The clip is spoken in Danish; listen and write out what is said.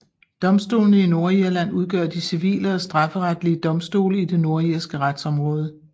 Domstolene i Nordirland udgør de civile og strafferetlige domstole i det nordirske retsområde